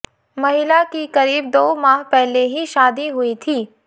महिला की करीब दो माह पहले ही शादी हुई थी